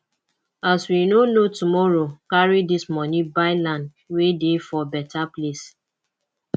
as we no know tomorrow carry dis moni buy land wey dey for beta place